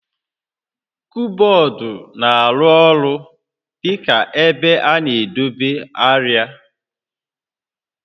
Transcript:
Kọbọọdụ na-arụ ọrụ dị ka ebe a na-edobe arịa